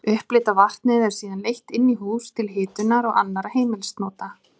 Upphitaða vatnið er síðan leitt inn í hús til hitunar og annarra heimilisnota.